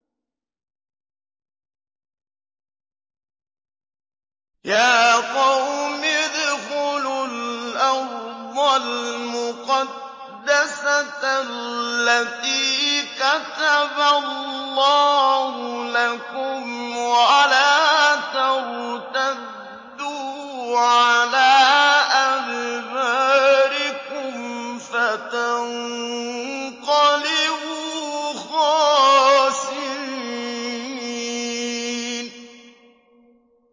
يَا قَوْمِ ادْخُلُوا الْأَرْضَ الْمُقَدَّسَةَ الَّتِي كَتَبَ اللَّهُ لَكُمْ وَلَا تَرْتَدُّوا عَلَىٰ أَدْبَارِكُمْ فَتَنقَلِبُوا خَاسِرِينَ